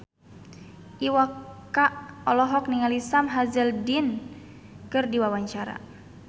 Iwa K olohok ningali Sam Hazeldine keur diwawancara